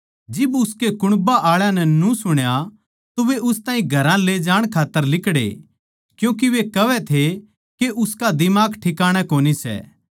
जिब उसके कुण्बा आळा न्यू सुण्या तो वे उस ताहीं घरां ले जाण खात्तर लिकड़े क्यूँके वे कहवै थे के उसका दिमाग ठिकाणै कोनी सै